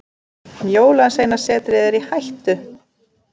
Jólasveinasetrið er í hættu.